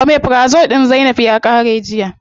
Omeprazole din zainab ya qare jiya.